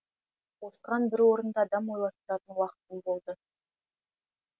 осыған бір орынды адам ойластыратын уақытым болды